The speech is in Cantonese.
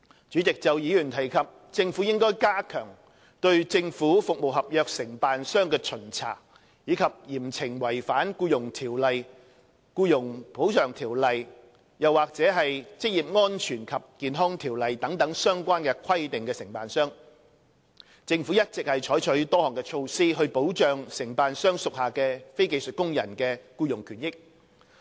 主席，就議員提及政府應加強對政府服務合約承辦商的巡查，以及嚴懲違反《僱傭條例》、《僱員補償條例》或《職業安全及健康條例》等相關規定的承辦商，政府一直採取多項措施，以保障承辦商屬下非技術工人的僱傭權益。